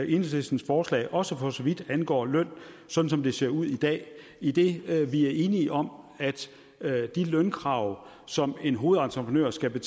enhedslistens forslag også for så vidt angår løn sådan som det ser ud i dag idet vi er enige om at de lønkrav som en hovedentreprenør skal